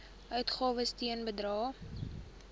uitgawes ten bedrae